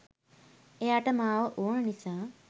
එයාට මාව ඕන නිසා